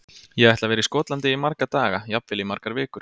Ég ætla að vera í Skotlandi í marga daga, jafnvel í margar vikur.